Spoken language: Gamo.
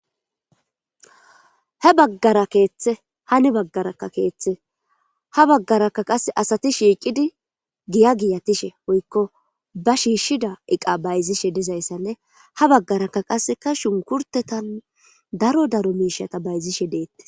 he baggara keeththe hani baggarakka keeththe ha baggarakka qase asati shiiqidi giya giyatishe woykko ba shiishshida iqa bayzishe dizayssanne ha baggarakka qaseka shunkurtetan daro daro miishata bayzishe deetti